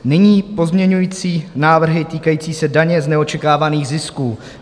Nyní pozměňovací návrhy týkající se daně z neočekávaných zisků.